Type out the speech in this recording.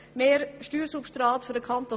Mehr Steuersubstrat für den Kanton